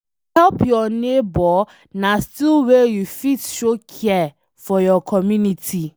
To help your neighbor na still way you fit show care for your community